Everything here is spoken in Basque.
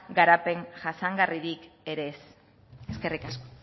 garapen jasangarririk ere ez eskerrik asko